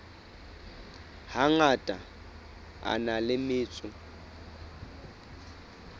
hangata a na le metso